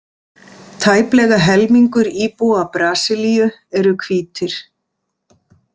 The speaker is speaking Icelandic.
Tæplega helmingur íbúa Brasilíu eru hvítir.